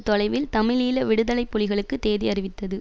தொலைவில் தமிழீழ விடுதலை புலிகளுக்கு தேதி அறிவித்தது